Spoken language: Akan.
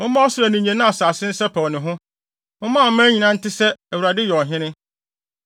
Momma ɔsoro ani nnye na asase nsɛpɛw ne ho! Momma aman nyinaa nte sɛ, Awurade yɛ ɔhene.